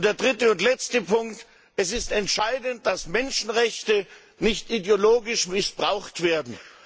Und der dritte und letzte Punkt Es ist entscheidend, dass Menschenrechte nicht ideologisch missbraucht werden.